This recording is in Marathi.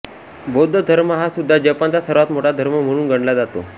बौद्ध धर्म हा सुद्धा जपानचा सर्वात मोठा धर्म म्हणून गणला जातो